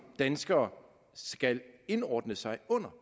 danskere skal indordne sig under